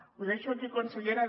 ho deixo aquí consellera